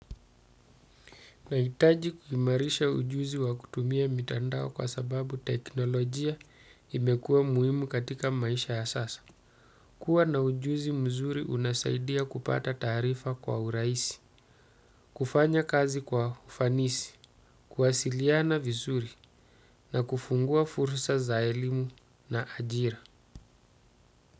Nahitaji kuimarisha ujuzi wa kutumia mitandao kwa sababu teknolojia imekua muhimu katika maisha ya sasa. Kuwa na ujuzi mzuri unasaidia kupata taarifa kwa urahisi, kufanya kazi kwa ufanisi, kuwasiliana vizuri na kufungua fursa za elimu na ajira.